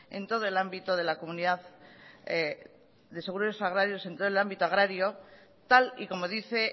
en todo el ámbito agrario tal y como dice